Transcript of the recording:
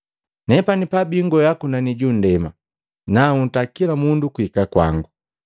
Nepani pabiingwea kunani junndema nanhuta kila mundu kuhika kwangu.”